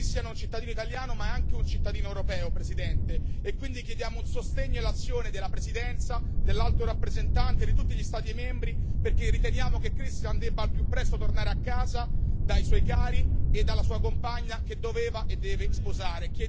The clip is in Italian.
Presidente, Christian è un cittadino italiano, ma è anche un cittadino europeo, e quindi chiediamo un sostegno e l'azione della Presidenza, dell'Alto rappresentante e di tutti gli Stati membri, perché riteniamo che Christian debba al più presto tornare a casa dai suoi cari e dalla sua compagna che doveva e deve sposare.